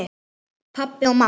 Pabbi og mamma